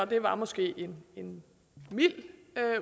det var måske en mild